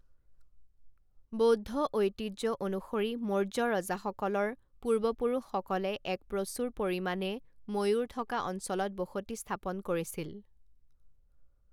বৌদ্ধ ঐতিহ্য অনুসৰি মৌৰ্য্য ৰজাসকলৰ পূৰ্বপুৰুষসকলে এক প্ৰচুৰ পৰিমাণে ময়ূৰ থকা অঞ্চলত বসতি স্থাপন কৰিছিল।